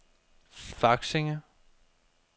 Faksinge